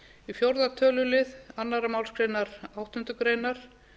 í fjórða tölulið annarri málsgrein áttundu greinar